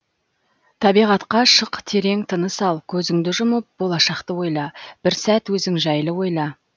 табиғатқа шық терең тыныс ал көзіңді жұмып болашақты ойла бір сәт өзің жайлы ойла